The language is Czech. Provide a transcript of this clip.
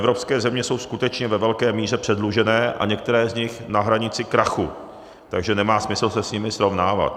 Evropské země jsou skutečně ve velké míře předlužené a některé z nich na hranici krachu, takže nemá smysl se s nimi srovnávat.